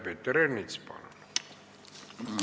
Peeter Ernits, palun!